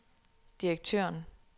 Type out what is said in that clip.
direktøren